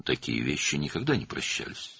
Belə şeylər heç vaxt bağışlanmırdı.